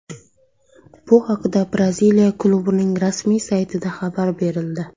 Bu haqda Braziliya klubining rasmiy saytida xabar berildi .